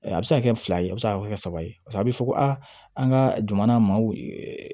A bɛ se ka kɛ fila ye a bɛ se ka kɛ saba ye paseke a bɛ fɔ ko aa an ka jamana maaw